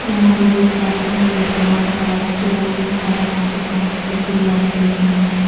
मैं यहां पर देख पा रही हूं कि एक बड़ा सा स्टोर रूम सा है जहां पर बहुत सारी गुड़िया लगी हुई है।